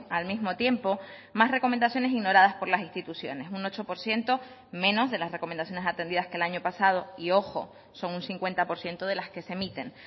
al mismo tiempo más recomendaciones ignoradas por las instituciones un ocho por ciento menos de las recomendaciones atendidas que el año pasado y ojo son un cincuenta por ciento de las que se emiten